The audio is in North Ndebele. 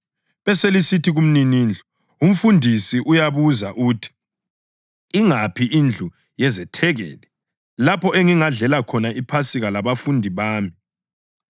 beselisithi kumninindlu, ‘Umfundisi uyabuza uthi: Ingaphi indlu yezethekeli, lapho engingadlela khona iPhasika labafundi bami?’